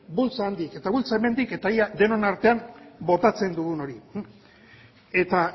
bultza handik eta bultza hemendik eta ea denon artean botatzen dugun hori eta